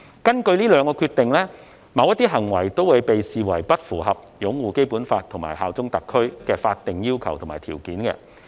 根據這兩項決定，某些行為會被視為不符合擁護《基本法》和效忠特區的法定要求及條件。